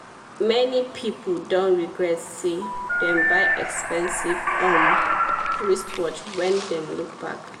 many people don regret say dem buy expensive um wristwatch when dem look back.